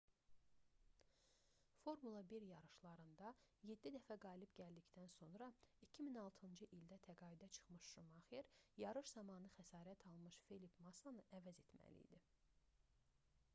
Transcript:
formula 1 yarışlarında yeddi dəfə qalib gəldikdən sonra 2006-cı ildə təqaüdə çıxmış şumaxer yarış zamanı xəsarət almış felipe massanı əvəz etməli idi